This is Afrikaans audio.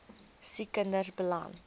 siek kinders beland